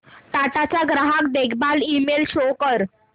टाटा चा ग्राहक देखभाल ईमेल शो कर